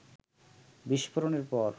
বিস্ফোরণের পর